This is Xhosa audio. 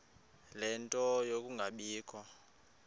ie nto yokungabikho